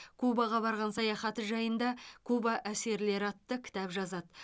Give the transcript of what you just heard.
кубаға барған саяхаты жайында куба әсерлері атты кітап жазады